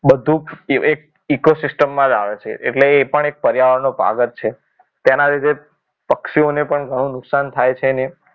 બધું એક eco system માં જ આવે છે એટલે એ પણ એક પર્યાવરણનો ભાગ જ છે તેના લીધે પક્ષીઓને પણ ઘણું નુકસાન થાય છે